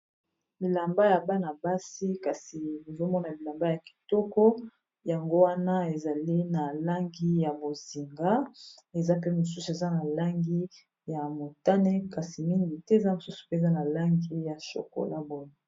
Bilamba ya bana-basi kasi ozomona bilamba ya kitoko yango wana ezali na langi ya bozinga eza pe mosusu eza na langi ya motane kasi mingi te eza mosusu peza na langi ya chokolat boye.